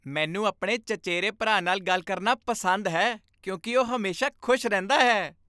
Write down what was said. ਮੈਨੂੰ ਆਪਣੇ ਚਚੇਰੇ ਭਰਾ ਨਾਲ ਗੱਲ ਕਰਨਾ ਪਸੰਦ ਹੈ ਕਿਉਂਕਿ ਉਹ ਹਮੇਸ਼ਾ ਖੁਸ਼ ਰਹਿੰਦਾ ਹੈ।